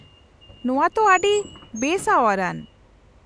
-ᱱᱚᱶᱟ ᱛᱚ ᱟᱹᱰᱤ ᱵᱮᱼᱥᱟᱶᱟᱨ ᱟᱱ ᱾